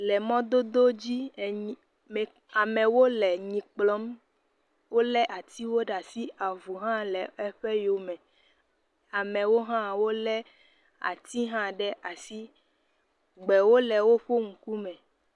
Le mɔdodo dzi enyi me amewo le enyi kplɔm wole atiwo ɖe asi avu hã le eƒe yome. Amewo hã wole ati hã ɖe asi. Gbewo le woƒe ŋkume.